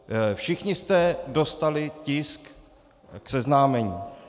Všichni jste dostali tisk k seznámení.